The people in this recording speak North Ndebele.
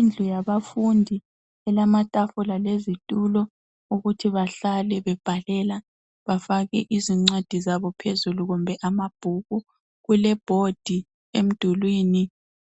Indlu yabafundi elamatafula lezitula okuthi bahlale bebhalela bafake izincwadi zabo phezulu kumbe amabhuku kulebhodi emdulini.